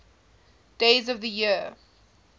days of the year